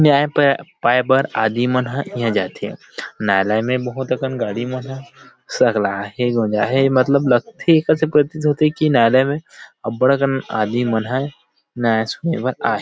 न्याय पाए बर आदमी मन ह इहाँ जाथे न्यायालय में बहुत अकन गाड़ी मन ह मत्तलब लगथे एकर से प्रतीत होथेकी न्यायलय मे अबबड़ अकन आदमी मन हा न्याय सुने बर आए हे ।